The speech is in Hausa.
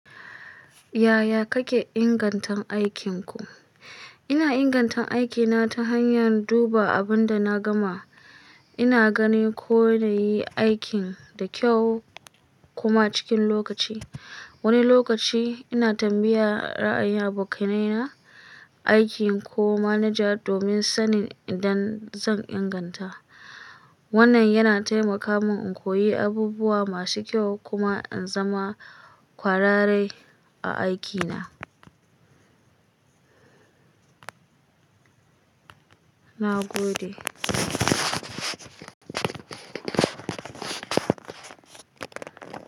Yaya kake ingantattun aikinku? Ina ingantattun aikina ta hanyar duba abin da na gama. Ina gani ko na yi aikin da kyau kuma cikin lokaci. Wani lokaci ina tambayar ra'ayin abokan aikina aiki ko manaja domin sanin inda zan inganta. Wannan yana taimaka min in koyi abubuwa masu kyau kuma in zama kwararre a aikina. Na gode.